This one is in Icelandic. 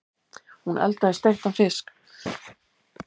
Hún eldaði steiktan fisk.